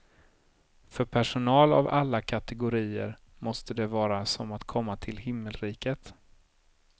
För personal av alla kategorier måste det vara som att komma till himmelriket.